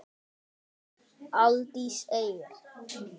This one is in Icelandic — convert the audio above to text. Aldís Eir.